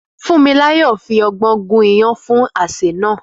Fúnmiláyọ̀ fi ọgbọ́n gún iyán fún àsè náà.